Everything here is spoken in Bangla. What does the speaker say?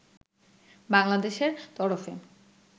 বাংলাদেশের তরফে